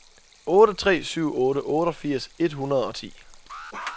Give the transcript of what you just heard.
otte tre syv otte otteogfirs et hundrede og ti